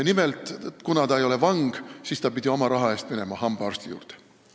Nimelt, kuna ta ei ole vang, siis ta pidi oma raha eest hambaarsti juurde minema.